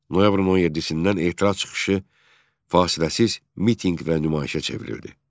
Noyabrın 17-dən etiraz çıxışı fasiləsiz mitinq və nümayişə çevrildi.